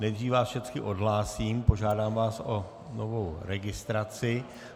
Nejdřív vás všecky odhlásím, požádám vás o novou registraci.